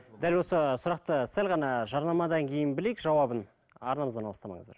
дәл осы сұрақты сәл ғана жарнамадан кейін білейік жауабын арнамыздан алыстамаңыздар